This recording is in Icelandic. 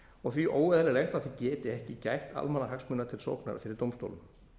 og því óeðlilegt að það geti ekki gætt almannahagsmuna til sóknar fyrir dómstólum